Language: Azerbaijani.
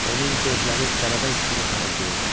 Onun gözləri qəribə hisslə parıldayırdı.